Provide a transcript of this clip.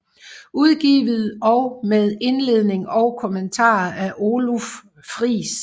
Udgivet og med indledning og kommentarer af Oluf Friis